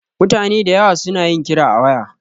Mutane dayawa su na yin kira a waya